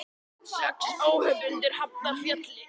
Sex óhöpp undir Hafnarfjalli